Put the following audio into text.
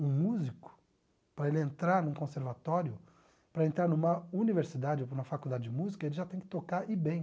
Um músico, para ele entrar num conservatório, para entrar numa universidade ou numa faculdade de música, ele já tem que tocar e bem.